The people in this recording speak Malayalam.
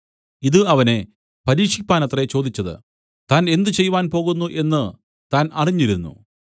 ഇതു അവനെ പരീക്ഷിപ്പാനത്രേ ചോദിച്ചത് താൻ എന്ത് ചെയ്‌വാൻ പോകുന്നു എന്നു താൻ അറിഞ്ഞിരുന്നു